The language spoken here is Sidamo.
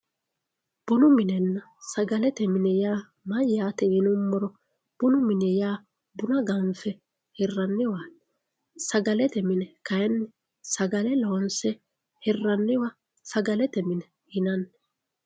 Bunu minenna sagalete mine yaa mayyate yinuummoro ,bunu mini yaa buna ganfe hiraniwa sagalete mine kayinni sagale loonse hiranniwa sagalete mine yinanni.